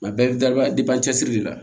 A bɛɛ bɛ cɛsiri de la